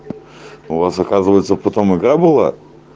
у вас оказывается потом игра была